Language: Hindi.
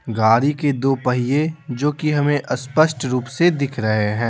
गाड़ी के दो पहिए जो कि हमें स्पष्ट रूप से दिख रहे हैं।